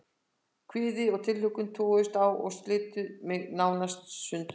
Kvíði og tilhlökkun toguðust á og slitu mig nálega í sundur.